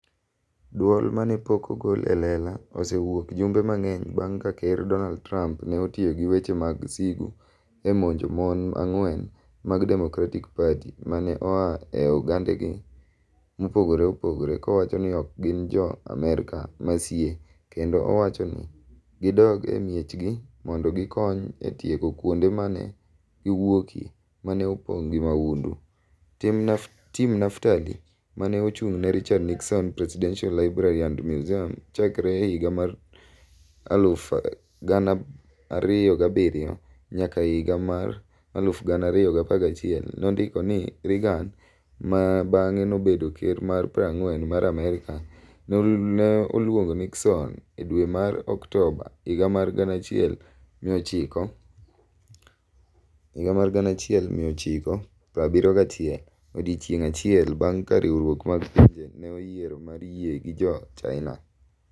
"Dwol ma ne pok ogol e lela osewuok jumbe mang'eny bang' ka Ker Donald Trump ne otiyo gi weche mag sigu e monjo mon ang'wen mag Democratic Party ma ne oa e ogendini mopogore opogore, kowacho ni ok gin Jo-Amerka masie kendo wacho ni "gidog e miechgi mondo gikony e tieko kuonde ma ne giwuokie ma ne opong' gi mahundu. Tim Naftali, ma ne ochung' ne Richard Nixon Presidential Library and Museum chakre higa mar 2007 nyaka higa mar 2011, nondiko ni Reagan - ma bang'e nobedo Ker mar 40 mar Amerka - ne oluongo Nixon e dwe mar Oktoba higa mar 1971, odiechieng' achiel bang' ka Riwruok mar Pinje ne oyiero mar yie gi Jo-China.